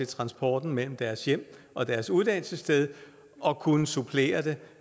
transporten mellem deres hjem og deres uddannelsessted og kunne supplere den